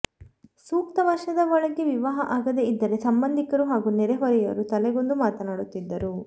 ಸೂಕ್ತ ವರ್ಷದ ಒಳಗೆ ವಿವಾಹ ಆಗದೆ ಇದ್ದರೆ ಸಂಬಂಧಿಕರು ಹಾಗೂ ನೆರೆಹೊರೆಯವರು ತಲೆಗೊಂದು ಮಾತನಾಡುತ್ತಿದ್ದರು